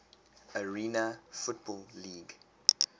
arena football league